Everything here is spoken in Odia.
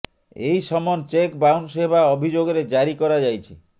ଏହି ସମନ ଚେକ୍ ବାଉନ୍ସ୍ ହେବା ଅଭିଯୋଗରେ ଜାରି କରାଯାଇଛି